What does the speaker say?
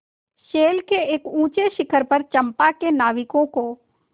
शैल के एक ऊँचे शिखर पर चंपा के नाविकों को